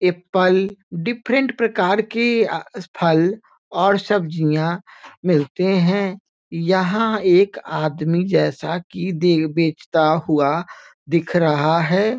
Apple different प्रकार के अ फल और सब्जियाँ मिलते हैं यहाँ एक आदमी जैसा कि दे बेचता हुआ दिख रहा है |